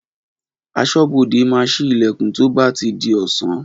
Aṣọ́bodè máa síí Ìlẹ̀kùn tí ó bá ti di ọ̀sán